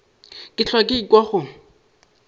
ke hlwa ke ekwa go